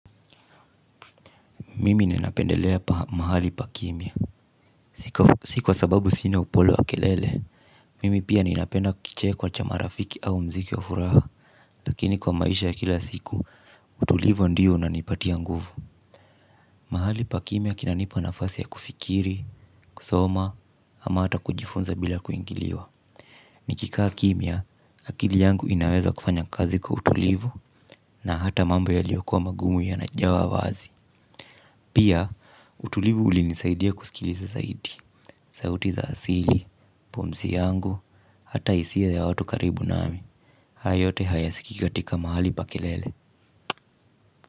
Mimi ninapendelea mahali pa kimya. Si kwa sababu sina upole wa kelele. Mimi pia ninapenda kicheko cha marafiki au mziki wa furaha. Lakini kwa maisha ya kila siku, utulivu ndio unanipatia nguvu. Mahali pa kimya kinanipa nafasi ya kufikiri, kusoma, ama hata kujifunza bila kuingiliwa. Nikikaa kimya, akili yangu inaweza kufanya kazi kwa utulivu na hata mambo yaliyokua magumu yanajawa wazi. Pia, utulivu ulinisaidia kusikiliza zaidi. Sauti za asili, pumzi yangu, ata hisia ya watu karibu naami. Haya yote hayasikiki katika mahali pa kelele.